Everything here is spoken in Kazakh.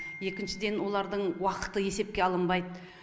екіншіден олардың уақыты есепке алынбайды